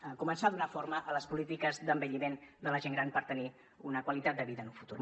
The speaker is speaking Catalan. a començar a donar forma a les polítiques d’envelliment de la gent gran per tenir una qualitat de vida en un futur